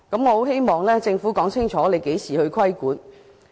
我希望政府會說清楚何時規管。